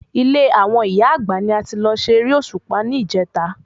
Ilé àwọn ìyá Àgbà ni a ti lọ ṣe eré Òṣùpá ní ìjèta